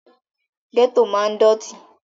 Gẹ́tò máa ń dọ̀tí